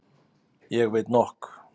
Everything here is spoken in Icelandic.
Ég veit nokk.